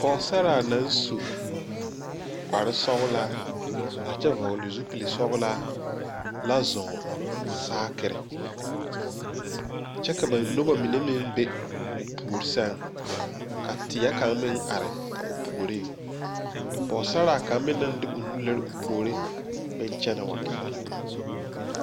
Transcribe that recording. poosaraa naŋ su kparesɔglaa a kyɛ vɔgle zupilsɔglaa la zɔɔ saakire kyɛ ka ba noba mine meŋ be o puori sɛŋ ka teɛ kaŋ meŋ are a o puoriŋ poosaraa kaŋ meŋ naŋ de o nu lire o puore meŋ kyɛnɛ wa gɛrɛ la.